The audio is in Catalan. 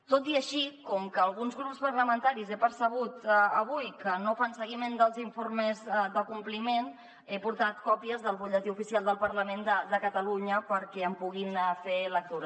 tot i així com que alguns grups parlamentaris he percebut avui que no fan seguiment dels informes de compliment he portat còpies del butlletí oficial del parlament de catalunya perquè en puguin fer lectura